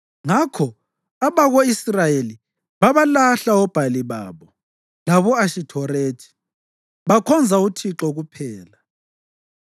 Ngakho abako-Israyeli babalahla oBhali babo labo-Ashithorethi, bakhonza uThixo kuphela.